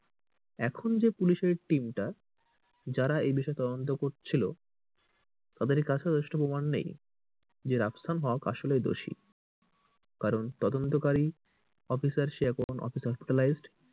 এখন যে পুলিশ এর team টা যারা এই বিষয়ে তদন্ত করছিলো তাদের কাছেও যথেষ্ট প্রমান নেই যে রাফসান হক আসলেই দোষী কারণ তদন্তকারী অফিসার সে এখন hospitalized